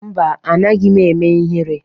Mba, anaghị m eme ihere.